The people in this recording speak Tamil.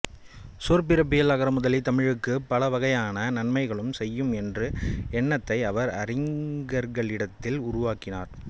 சொற்பிறப்பியல் அகரமுதலி தமிழுக்குப் பலவகையான நன்மைகளும் செய்யும் என்ற எண்ணத்தை அவர் அறிஞர்களிடத்தில் உருவாக்கினார்